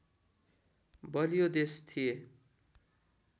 बलियो देश थिए